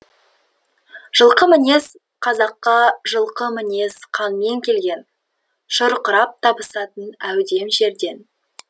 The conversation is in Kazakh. жылқы мінез қазаққа жылқы мінез қанмен келген шұрқырап табысатын әудем жерден